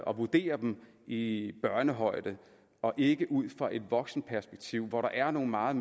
og vurderer dem i børnehøjde og ikke ud fra et voksenperspektiv hvor det er nogle meget